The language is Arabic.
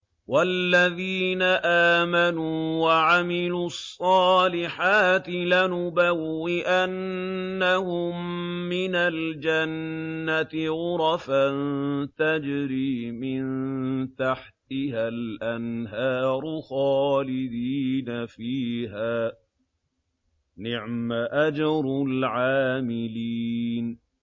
وَالَّذِينَ آمَنُوا وَعَمِلُوا الصَّالِحَاتِ لَنُبَوِّئَنَّهُم مِّنَ الْجَنَّةِ غُرَفًا تَجْرِي مِن تَحْتِهَا الْأَنْهَارُ خَالِدِينَ فِيهَا ۚ نِعْمَ أَجْرُ الْعَامِلِينَ